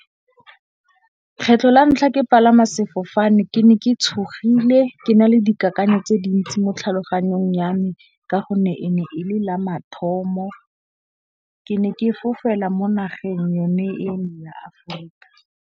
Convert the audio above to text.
Kgetlho la ntlha ke palama sefofane ke ne ke tshogile ke na le dikakanyo tse dintsi mo tlhaloganyong ya me. Ka gonne e ne e le la mathomo. Ke ne ke fofela mo nageng yone eo ya Afrika.